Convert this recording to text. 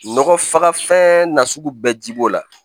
Nɔgɔ faga fɛn nasugu bɛɛ ji b'o la